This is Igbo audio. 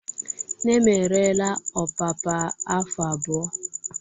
Nne m ereela ọpapa afọ abụọ.